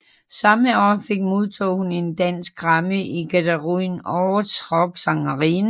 Samme år fik modtog hun en Dansk Grammy i kategorien Årets Rocksangerinde